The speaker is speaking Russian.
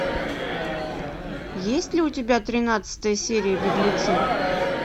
есть ли у тебя тринадцатая серия беглецы